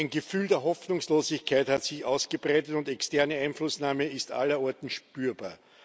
Ein Gefühl der Hoffnungslosigkeit hat sich ausgebreitet, und externe Einflussnahme ist allerorten spürbar.